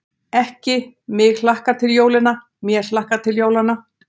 Ekki: mig hlakkar til jólanna, mér hlakkar til jólanna.